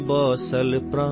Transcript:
Kosi Kamla Balan high